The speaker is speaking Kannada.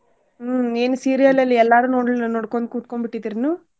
ಹ್ಮ್ ನೀನು serial ಅಲ್ಲಿ ಎಲ್ಲಾರು ನೋಡಿಲ್ಲ ನೋಡ್ಕೊಂಡ್ ಕೂತ್ಕೊಂಡ್ ಬಿಟ್ಟಿದ್ರೇನು?